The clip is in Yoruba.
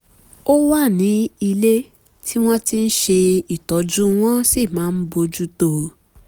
ó wà ní ilé tí wọ́n ti ń ṣe ìtọ́jú wọ́n sì máa bójú tó o